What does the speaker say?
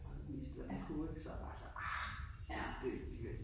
Og vist hvad den kunne ik, så havde jeg bare sagt ah det det gør de ikke